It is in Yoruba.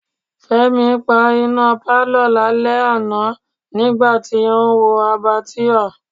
Fẹ́mi pa iná pálọ̀ lálẹ́ àná nígbà tí ó ń wa Abbatoir.